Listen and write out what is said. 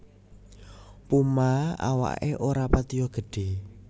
Puma awaké ora patiya gedhé